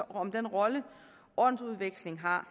om den rolle ordensudveksling har